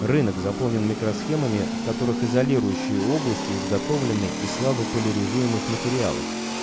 рынок заполнен микросхемами в которых изолирующие области изготовленные из слабо поляризуемость материалов